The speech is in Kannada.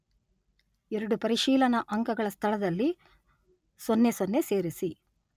ಎರಡೂ ಪರಿಶೀಲನಾ ಅಂಕಗಳ ಸ್ಥಳದಲ್ಲಿ ಸೊನ್ನೆ ಸೊನ್ನೆ ಸೇರಿಸಿ.